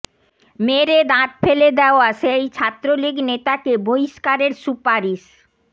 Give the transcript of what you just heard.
মেরে দাঁত ফেলে দেয়া সেই ছাত্রলীগ নেতাকে বহিষ্কারের সুপারিশ